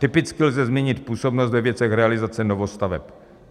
Typicky lze zmínit působnost ve věcech realizace novostaveb.